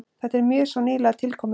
Þetta er mjög svo nýlega tilkomið.